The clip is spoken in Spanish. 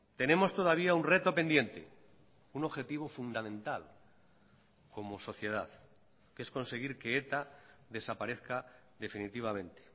tenemos todavía un reto pendiente un objetivo fundamental como sociedad que es conseguir que eta desaparezca definitivamente